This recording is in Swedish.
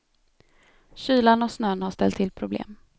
Kylan och snön har ställt till problem.